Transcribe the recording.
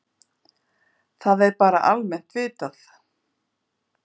Það er bara almennt vitað.